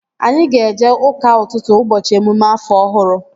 Anyị ga-eje ụka ụtụtụ ụbọchị emume afọ ọhụrụ